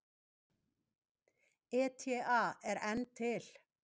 ETA er enn til.